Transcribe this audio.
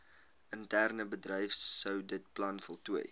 interne bedryfsouditplan voltooi